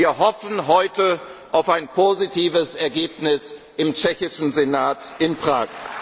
kann. Wir hoffen heute auf ein positives Ergebnis im tschechischen Senat